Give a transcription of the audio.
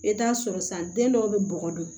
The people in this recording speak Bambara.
I bɛ t'a sɔrɔ san den dɔw bɛ bɔgɔ dun